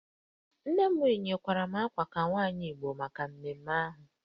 Nne m yikwara m uwe ka nwaanyị Igbo maka mmemme ahụ